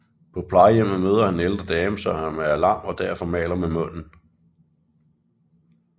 På plejehjemmet møder han en ældre dame som er lam og derfor maler med munden